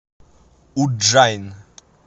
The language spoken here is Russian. удджайн